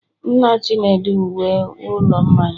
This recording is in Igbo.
nna chinedu nwe ụlọ mmanya